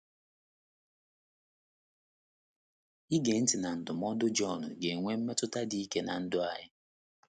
Ige ntị na ndụmọdụ Jọn ga - enwe mmetụta dị ike ná ndụ anyị.